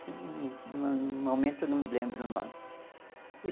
No momento, não me lembro o nome.